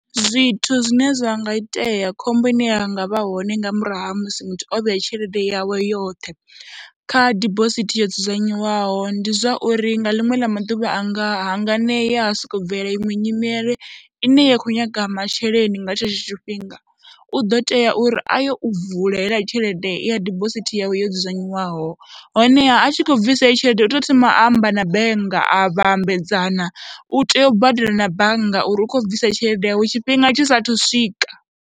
Zwithu zwine zwa nga itea, khombo ine ya nga vha hone nga murahu ha musi muthu o vhea tshelede yawe yoṱhe kha dibosithi yo dzudzanywaho, ndi zwa uri nga ḽiṅwe ḽa maḓuvha a nga hanganea ha sokou bvelela iṅwe nyimele ine ya khou nyaga masheleni nga tshetsho tshifhinga, u ḓo tea uri a ye u vula heiḽa tshelede ya dibosithi yawe yo dzudzanywaho honeha a tshi khou bvisa heyo tshelede u tea u thoma amba na bannga, a vha ambedzana, u tea u badela na bannga uri u khou bvisa tshelede yawe tshifhinga tshi saathu swika.